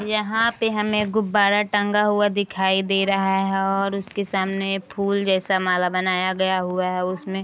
यहाँ पे हमें गुब्बारा टंगा हुवा दिखाई दे रहा है और उसके सामने फूल जैसा माला बनाया गया हुवा है उसमे --